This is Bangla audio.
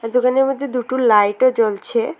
দোকানের মধ্যে দুটো লাইটও জ্বলছে।